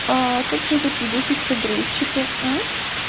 а как же тут видосик с обрыв чика